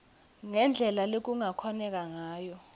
ngendlela lekungakhoneka ngayo